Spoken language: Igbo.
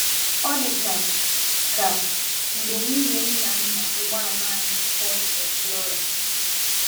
Ọ dị ka ka mgbe nwunye m na-anya ụgbọala anyị Ford Explorer.